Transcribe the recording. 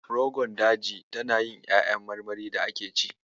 Rogon Daji tana yin ƴaƴan marmarin da ake ci.